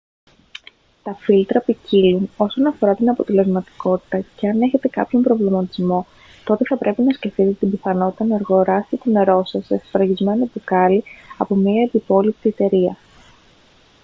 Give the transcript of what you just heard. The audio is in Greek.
τα φίλτρα ποικίλουν όσον αφορά την αποτελεσματικότητα και αν έχετε κάποιον προβληματισμό τότε θα πρέπει να σκεφτείτε την πιθανότητα να αγοράσετε το νερό σας σε σφραγισμένο μπουκάλι από μια ευυπόληπτη εταιρεία